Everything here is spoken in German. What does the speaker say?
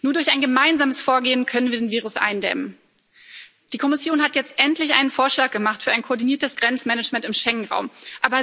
Nur durch ein gemeinsames Vorgehen können wir diesen Virus eindämmen. Die Kommission hat jetzt endlich einen Vorschlag für ein koordiniertes Grenzmanagement im Schengen Raum gemacht.